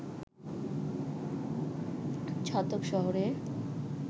ছাতক শহরে